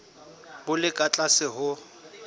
bo le ka tlase ho